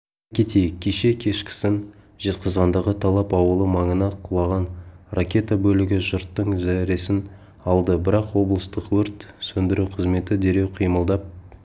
айта кетейік кеше кешкісін жезқазғандағы талап ауылы маңына құлаған ракета бөлігі жұрттың зәресін алды бірақ облыстық өрт сөндіру қызметі дереу қимылдап